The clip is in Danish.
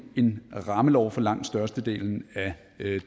en rammelov for langt størstedelen af